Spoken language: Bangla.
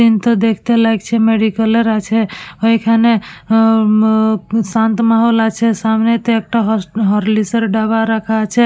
সিনটা দেখতে লাগছে মেডিক্যাল -এর আছে ওইখানে অ উম-ম শান্ত মাহল আছে সামনেতে একটা হস হরলিক্স -এর ডাব্বা রাখা আছে ।